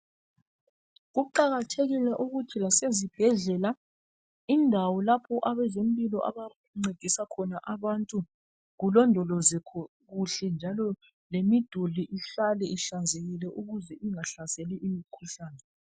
kuqakahekile ukuthi lasezibhedlela indawo lapho abezempilo abancedisa khona abantu kulondolozwe kuhle lemiduli ihlale ihlanzekile ukuze ingahlaseli imikhuhlane